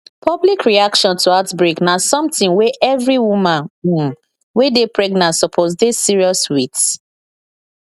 public reaction to outbreak na something wey every woman um wey dey pregnant suppose dey serious with